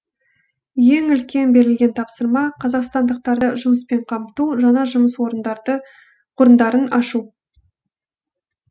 ең үлкен берілген тапсырма қазақстандықтарды жұмыспен қамту жаңа жұмыс орындарын ашу